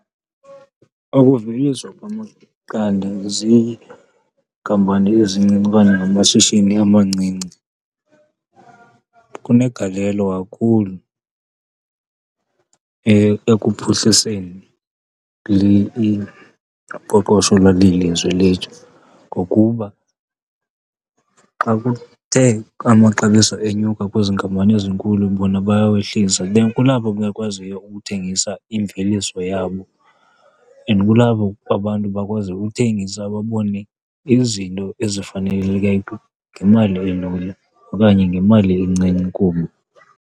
Ukuveliswa kwamaqanda ziinkampani ezincinci okanye ngamashishini amancinci kunegalelo kakhulu ekuphuhliseni uqoqosho lweli lizwe lethu, ngokuba xa kuthe amaxabiso enyuka kwezi nkampani zinkulu bona bayawehlisa. Then kulapho bekwaziyo ukuthengisa imveliso yabo and kulapho abantu bakwazi uthengisa babone izinto ngemali elula okanye ngemali encinci kubo.